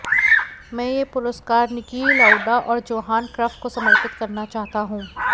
मैं यह पुरस्कार निकी लाउडा और जोहान क्रफ को समर्पित करना चाहता हूं